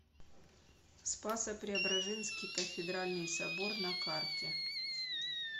спасо преображенский кафедральный собор на карте